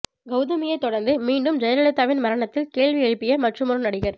கவுதமியை தொடர்ந்து மீண்டும் ஜெயலலிதாவின் மரணத்தில் கேள்வி எழுப்பிய மற்றுமொரு நடிகர்